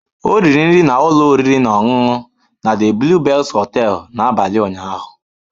Ọ riri nri na ụlọ oriri na ọṅụṅụ na The Blue Bells hotel n'abalị ụnyaahụ.